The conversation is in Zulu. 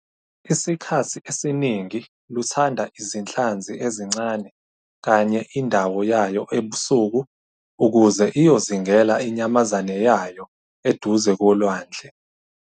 Isikhathi esiningi luthanda izinhlanzi ezincane kanye indawo yayo ebusuku ukuze iyozingela inyamazane yayo eduze kolwandle.